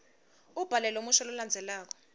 ubhale lomusho lolandzelako